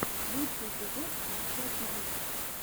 лучший эпизод борща тиви